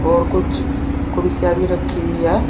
और कुछ कुर्सियां भी रखी हुई है।